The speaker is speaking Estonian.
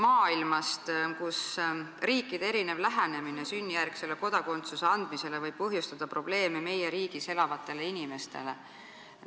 Nimelt, riikide erinev lähenemine sünnijärgse kodakondsuse andmisele võib põhjustada probleeme meie riigis elavatele inimestele.